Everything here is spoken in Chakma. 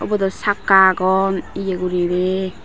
ubodow chakka agon ye guriney.